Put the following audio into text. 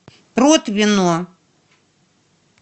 протвино